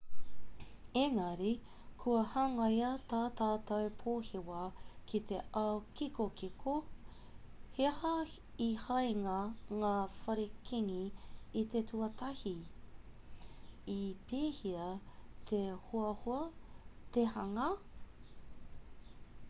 engari kua hangaia tā tātou pōhewa ki te ao kikokiko he aha i hangaia ngā whare kīngi i te tuatahi i pēhea te hoahoa te hanga